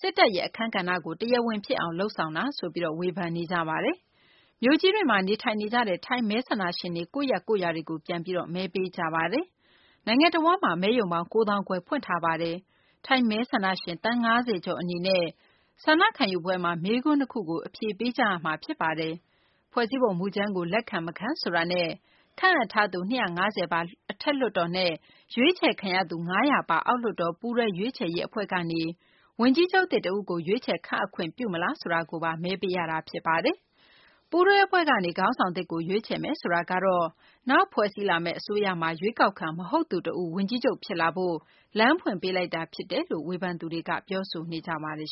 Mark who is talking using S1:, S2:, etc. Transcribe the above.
S1: စစ်တပ်ရဲ့ အခန်းကဏ္ဍကို တရားဝင်ဖြစ်အောင် လုပ်ဆောင်မှုဆိုပြီး ဝေဖန်ကြပါတယ်။ မြို့ကြီးတွေမှာ နေထိုင်နေကြတဲ့ ထိုင်း မဲဆန္ဒရှင်တွေ ကိုယ့်ရပ်ရွာတွေကို ပြန်ပြီး မဲပေးကြပါတယ်။ နိုင်ငံတဝန်းမှာ မဲရုံပေါင်း ၉ သောင်းခွဲ ဖွင့်လှစ်ထားတာပါ။ ထိုင်းမဲဆန္ဒရှင် သန်း ၅၀ ကျော်အနေနဲ့ ဆန္ဒခံယူပွဲမှာ မေးခွန်း ၂ ကို အဖြေပေးကြရမှာ ဖြစ်ပါတယ်။ ဖွဲ့စည်းပုံမူကြမ်းကို လက်ခံ-မခံဆိုတာနဲ့ ခန့်အပ်ထားထားသူ ၂၅၀ ပါ အထက်လွှွတ်တော်နဲ့ရွေးချယ်ခံရသူ ၅၀၀ ပါအောက်လွှတ်တော်ပူးတွဲ ရွေးချယ်ရေး အဖွဲ့ကနေ ဝန်ကြီးချုပ်သစ် တဦးကို ရွေးချယ် ခန့်အပ်ခွင့်ပြုမလားဆိုတာကို မဲပေးရမှာ ဖြစ်ပါတယ်။ ပူးတွဲအဖွဲ့ကနေ ခေါင်းဆောင်သစ်ကို ရွေးချယ်မယ်ဆိုတာကတော့ နောက်ဖွဲ့စည်းလာမယ့် အစိုးရမှာ ရွေးကောက်ခံ မဟုတ်သူ တဦး ဝန်ကြီးချုပ် ဖြစ်လာဖို့ လမ်းဖွင့်ပေးလိုက်တာ ဖြစ်တယ်လို့ ဝ
S2: ေဖန်သူတွေက ပြောနေကြပါတယ်